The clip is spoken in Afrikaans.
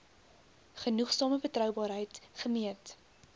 genoegsame betroubaarheid gemeet